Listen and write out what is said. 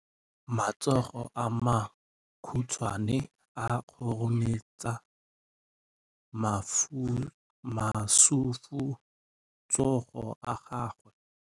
Matsogo a makhutshwane a khurumetsa masufutsogo a gago.